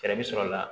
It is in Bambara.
Fɛɛrɛ bɛ sɔrɔ la